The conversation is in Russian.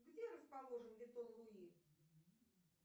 где расположен витон луи